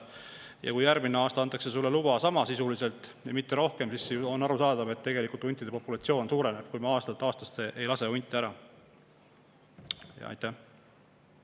Ja kui järgmine aasta antakse sisuliselt sama lubasid, mitte rohkem, siis on ju arusaadav, et huntide populatsioon suureneb, kui me aastast aastasse ei lase hunte.